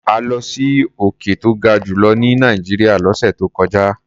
A lọ sí òkè tó ga jù lọ ní Nàìjíríà lọ́sẹ̀ tó kọjá.